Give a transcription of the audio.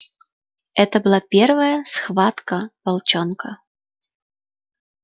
это была первая схватка волчонка